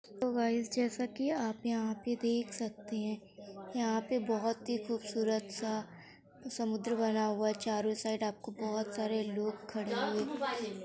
hello guys जैसा कि आप यहाॅं पे देख सकते हैं यहाॅं पे बोहोत ही खूबसूरत सा समुद्र बना हुआ है चारों साइड आपको बोहोत सारे लोग खड़े हुए --